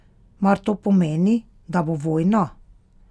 Mar to pomeni, da bo vojna?